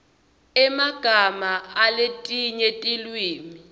emagama aletinye tilwimi